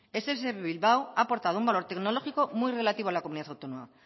ess bilbao ha aportado un valor tecnológico muy relativo a la comunidad autónoma